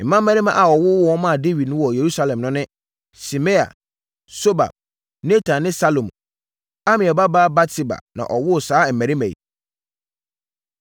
Mmammarima a wɔwowoo wɔn maa Dawid wɔ Yerusalem no ne: Simea, Sobab, Natan ne Salomo. Amiel babaa Batseba na ɔwoo saa mmarima yi.